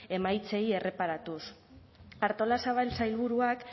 emaitzei erreparatuz artolazabal sailburuak